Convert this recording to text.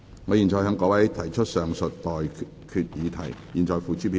我現在向各位提出上述待決議題，付諸表決。